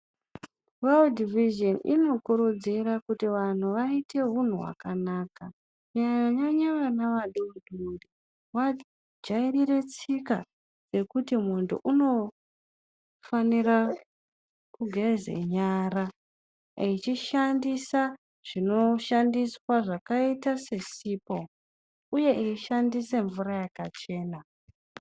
Weudhi Vizheni inokurudzira kuti vanhu vaite unhu hwakanaka kunyanya nyanya vana vadodori vajairire tsika yekuti munhu unofanira kugeze nyara echishandisa zvinoshandiswa zvakaite sesipo uye eishandise mvura yakachena.